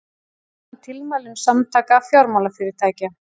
Fagna tilmælum Samtaka fjármálafyrirtækja